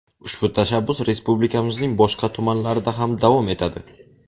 Ushbu tashabbus respublikamizning boshqa tumanlarida ham davom etadi.